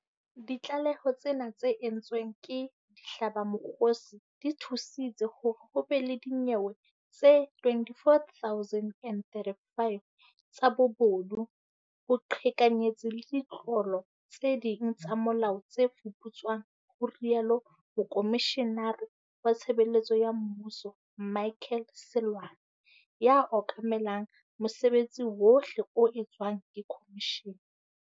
Ditlaleho tsena tse entsweng ke dihlabamokgosi di thusitse hore ho be le dinyewe tse 24 035 tsa bobodu, boqheka nyetsi le ditlolo tse ding tsa molao tse fuputswang, ho rialo Mokomishenara wa Tshebeletso ya Mmuso Michael Seloane, ya okamelang mosebetsi wohle o etswang ke khomishene.